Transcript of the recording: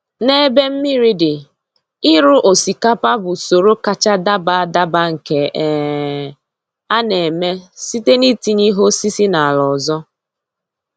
N’ebe mmiri dị, ịrụ osikapa bụ usoro kacha daba adaba nke um a na-eme site na-itinye ihe osisi n’ala ọzọ.